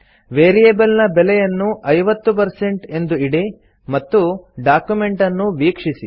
variable ನ ಬೆಲೆಯನ್ನು 50 ಎಂದು ಇಡಿ ಮತ್ತು ಡಾಕ್ಯುಮೆಂಟ್ ಅನ್ನು ವೀಕ್ಷಿಸಿ